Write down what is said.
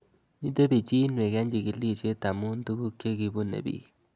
Mito pichinwek eng' chig'ilishe amu tuguk che kipune pik